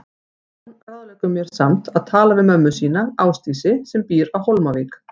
Jón ráðleggur mér samt að tala við mömmu sína, Ásdísi, sem býr á Hólmavík.